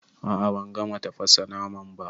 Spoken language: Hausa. A'a ban gama tafasa naman ba.